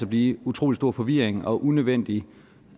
blive utrolig stor forvirring og unødvendige